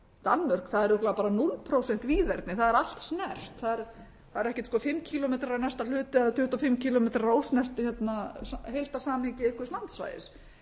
danmörk það er örugglega núll prósent víðerni það er allt snert það er ekkert sko fimm kílómetrar í næsta hluta eða tuttugu og fimm kílómetrar ósnert heildarsamhengi einhvers landsvæðis